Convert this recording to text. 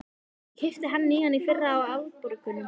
Ég keypti hann nýjan í fyrra, á afborgunum.